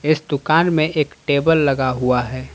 इस दुकान में एक टेबल लगा हुआ है।